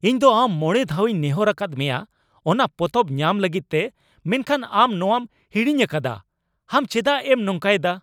ᱤᱧ ᱫᱚ ᱟᱢ ᱢᱚᱬᱮ ᱫᱷᱟᱣᱤᱧ ᱱᱮᱦᱚᱨ ᱟᱠᱟᱫ ᱢᱮᱭᱟ ᱚᱱᱟ ᱯᱚᱛᱚᱵ ᱧᱟᱢ ᱞᱟᱹᱜᱤᱫ ᱛᱮ, ᱢᱮᱱᱠᱷᱟᱱ ᱟᱢ ᱱᱚᱣᱟᱢ ᱦᱤᱲᱤᱧ ᱟᱠᱟᱫᱟ, ᱟᱢ ᱪᱮᱫᱟᱜ ᱮᱢ ᱱᱚᱝᱠᱟᱭᱮᱫᱟ ?